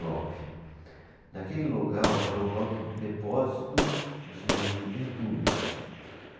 Nove. Naquele local era um local de depósito de entulho.